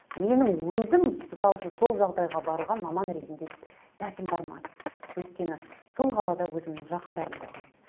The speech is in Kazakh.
менің өзім мысал үшін сол жағдайға баруға маман ретінде дәтім бармады өйткені сол қалада өзімнің жақындарым тұрған